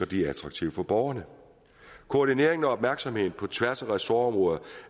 de er attraktive for borgerne koordineringen og opmærksomheden på tværs af ressortområder